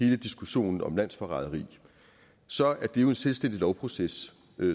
hele diskussionen om landsforræderi så er det jo en selvstændig lovproces